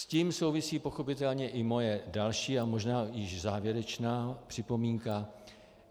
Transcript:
S tím souvisí pochopitelně i moje další a možná již závěrečná připomínka.